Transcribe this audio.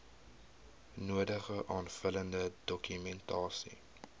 nodige aanvullende dokumentasie